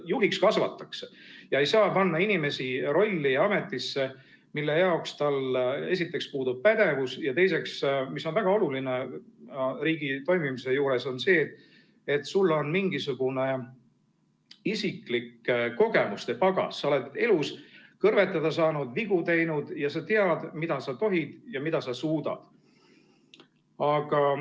Juhiks kasvatakse ja ei saa panna inimest rolli ja ametisse, mille jaoks tal esiteks puudub pädevus, ja teiseks, mis on väga oluline riigi toimimise juures, et sul on mingisugune isiklik kogemuste pagas, sa oled elus kõrvetada saanud, vigu teinud ja sa tead, mida sa tohid ja mida sa suudad.